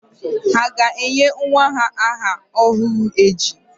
Ha ga-enye nwa aha ọhụrụ echi?